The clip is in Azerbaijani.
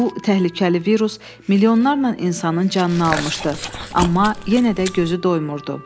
Bu təhlükəli virus milyonlarla insanın canını almışdı, amma yenə də gözü doymurdu.